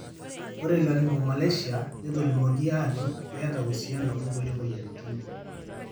ore Laryngomalacia netolimuoki aajo keeta uusiano onkulie moyiaritin.